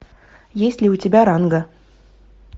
есть ли у тебя ранга